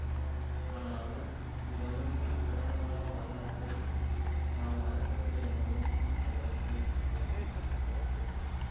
ஆனாலும் இவ்வமைப்பின் கடந்த கால வரலாற்றைத் தாம் மறக்கவில்லை எனவும் அவ்வறிக்கை கூறுகிறது